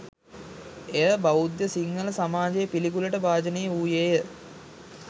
එය බෞද්ධ සිංහල සමාජයේ පිළිකුලට භාජනය වූයේය